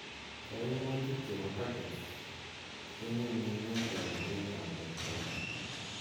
kaiumutik chebo pagets kenyunnyumee toreteet ap rotweet.